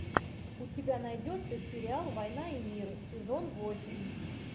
у тебя найдется сериал война и мир сезон восемь